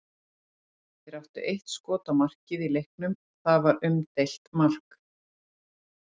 Þeir áttu eitt skot á markið í leiknum og það var umdeilt mark.